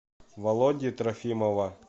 володи трофимова